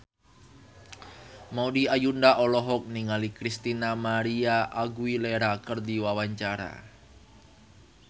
Maudy Ayunda olohok ningali Christina María Aguilera keur diwawancara